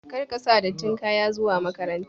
Kar ka sa dattin kaya zuwa makaranta!